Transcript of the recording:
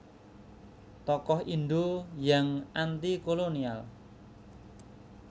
Tokoh Indo yang Antikolonial